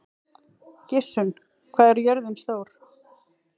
Gissunn, hvað er jörðin stór?